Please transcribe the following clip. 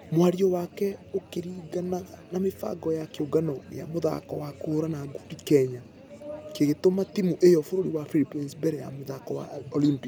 Mwario wake ũkĩringqnq na mĩbqngo ya kĩũngano gĩa mũthako wa kũhũrana ngundi kenya ya klgũtũma timũ ĩyo bũrũri wa Philippines mbere ya mĩthako ya olympics.